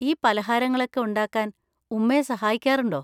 ഈ പലഹാരങ്ങളൊക്കെ ഉണ്ടാക്കാൻ ഉമ്മയെ സഹായിക്കാറുണ്ടോ?